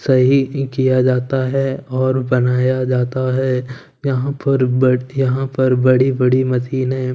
सही भी किया जाता है और बनाया जाता है यहां पर बट यहां पर बड़ी बड़ी मशीने है।